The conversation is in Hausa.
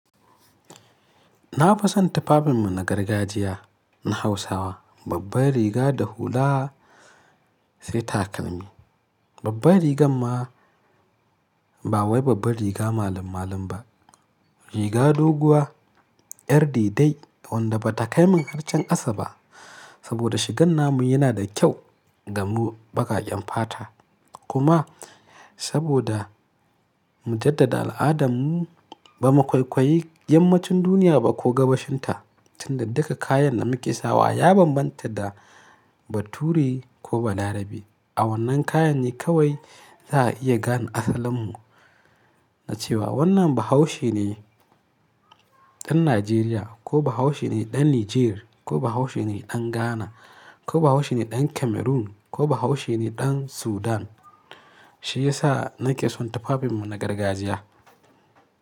Na fi son tufafinmu na gargajiya na Hausawa. Babbar riga da hula sai takalmi. Babbar rigan ma ba wai babbar riga malam-malan ba. Riga doguwa, yar dai dai wanda ba ta kai min har can kasa ba. Saboda shigan namu yana da kyau ga mu baƙaƙen fata. Kuma saboda mu jaddada al'adarmu ba mu kwaikwayi yammacin duniya ba ko gabashinta, tun da duka kayan da muka sawa ya bambanta da bature ko balarabe. A wannan kayan ne kawai za a iya gane asalinmu na cewa wannan Bahaushe ne ɗan Najeriya ko Bahaushe ne ɗan Nijer ko Bahaushe ne ɗan Ghana ko Bahaushe ne ɗan Cameroon ko Bahaushe ne ɗan Sudan. Shi ya sa nake son tufafinmu na gargajiya.